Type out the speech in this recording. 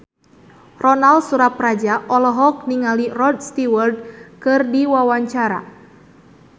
Ronal Surapradja olohok ningali Rod Stewart keur diwawancara